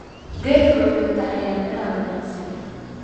Gadhku wuxuu taxayaa miraha wanaagsan.